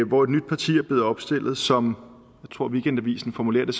hvor et nyt parti er blevet opstillet som weekendavisen formulerer det